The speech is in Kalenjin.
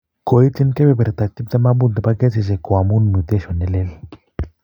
Koityin kepeperta 25% ne po kesisiek ko amu mutation nelel.